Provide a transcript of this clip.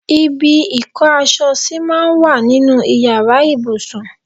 Ibi ìkó aṣọ sí máa ń wà nínú Ìyàrá ìbùsùn.